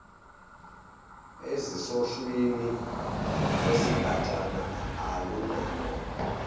ezisohlwini lwesigatshana alunabo